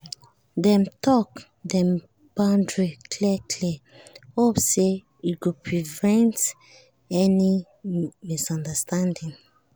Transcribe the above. dem talk dem boundary clear clear hope say e go prevent another misunderstanding.